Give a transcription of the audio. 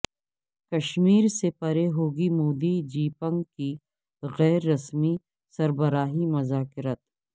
کشمیر سے پرے ہوگی مودی جیپنگ کی غیر رسمی سربراہی مذاکرات